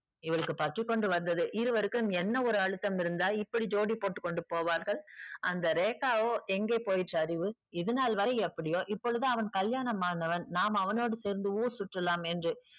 இவளுக்கு பற்றி கொண்டு வந்தது. இருவருக்கும் என்ன ஒரு அழுத்தம் இருந்தால் இப்படி ஜோடி போட்டு கொண்டு போவார்கள்? அந்த ரேகாவோ எங்கே போயிற்று அறிவு? இதுநாள் வரை எப்படியோ இப்பொழுது அவன் கல்யாணமானவன். நாம் அவனோடு சேர்ந்து ஊரு சுற்றலாம் என்று